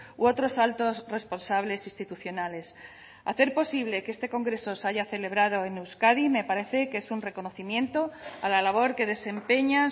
u otros altos responsables institucionales hacer posible que este congreso se haya celebrado en euskadi me parece que es un reconocimiento a la labor que desempeña